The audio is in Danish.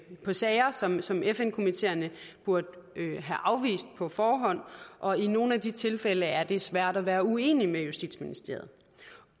på sager som som fn komiteerne burde have afvist på forhånd og i nogle af de tilfælde er det svært at være uenig med justitsministeriet